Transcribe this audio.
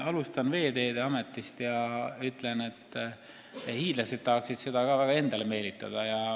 Alustan Veeteede Ametist ja ütlen, et ka hiidlased tahavad seda enda juurde meelitada.